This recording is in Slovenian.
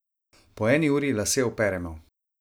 Po eni uri lase operemo.